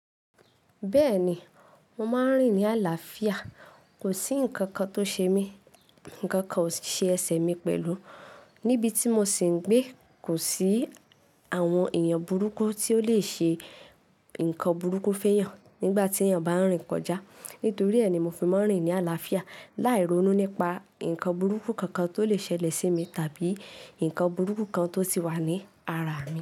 Bẹ́ẹ̀ni, mo máa ń rìn ní àlàáfíà. Kò sí ǹkankan tó ṣe mí, ǹkankan o si se ẹ̀ṣẹ̀ mi pẹ̀lú. Níbi tí mo sì ń gbé, kò sí àwọn èèyàn burúkú tí ó lè ṣe ǹkan burúkú fẹ́yàn nígbà tí èèyàn bá ń rìn kọjá. Nítorí ẹ ni mo fi máa ń rìn ní àlàáfíà, láì ronú nípa ǹkan burúkú kankan tó lè ṣẹlẹ̀ sí mi tàbí ǹkan burúkú kan tó ti wà ní ara mi.